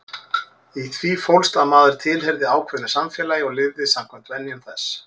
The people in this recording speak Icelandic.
Í því fólst að maður tilheyrði ákveðnu samfélagi og lifði samkvæmt venjum þess.